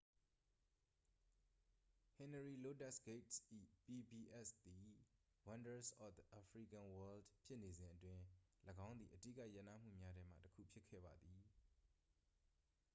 ဟနရီလိုးတက်စ်ဂိတ်စ် ၏ pbs သည် wonders of the african world ဖြစ်နေစဉ်အတွင်း ၎င်းသည် အဓိကရပ်နားမှုများထဲမှတစ်ခုဖြစ်ခဲ့ပါသည်